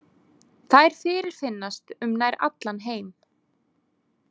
Þær fyrirfinnast um nær allan heim.